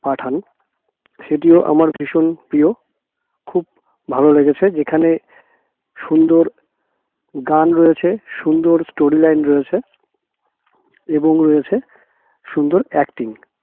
পাঠান সেটিও আমার ভীষণ প্রিয় খুব ভালো লেগেছে যেখানে সুন্দর গান রয়েছে সুন্দর story line রয়েছে এবং রয়েছে সুন্দর acting